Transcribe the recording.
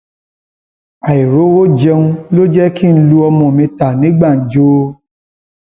àìrówó jẹun ló jẹ kí n lu ọmọ mi ta ní gbàǹjo